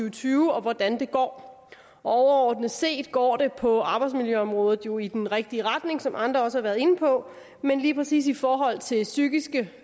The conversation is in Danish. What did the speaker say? og tyve og hvordan det går overordnet set går det på arbejdsmiljøområdet jo i den rigtige retning som andre også har været inde på men lige præcis i forhold til psykiske